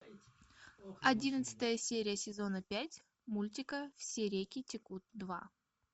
одиннадцатая серия сезона пять мультика все реки текут два